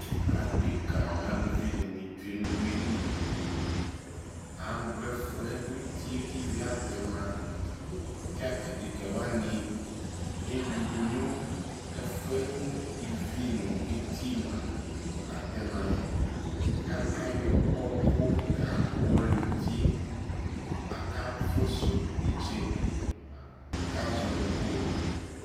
adɛka nʋ alʋvi dini twɛ nʋ ʋwili, agbɔ ɛfʋɛ ʋtiɛ kʋ ivi atɛma kʋ adɛka wani ɛwidʋ nʋ ɛfʋɛ kʋ ivi nʋ ɛtiɛ mʋa atɛmaɛ kʋ ayɔ ɔkʋ ka wɔli ʋtiɛ, aka fʋsʋ ɛtsɛdɛ kʋ azɔnʋ gold